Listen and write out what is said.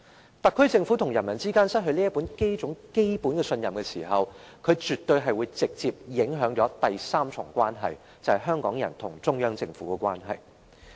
若特區政府與人民之間失去基本信任，絕對會直接影響第三重關係，就是香港人與中央政府之間的關係。